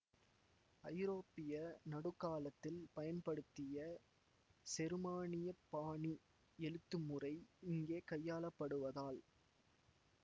ஐரோப்பிய நடுக்காலத்தில் பயன்படுத்திய செருமானியப் பாணி எழுத்துமுறை இங்கே கையாளப்படுவதால்